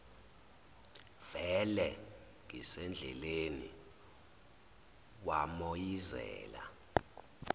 vele ngisendleleni wamoyizela